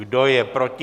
Kdo je proti?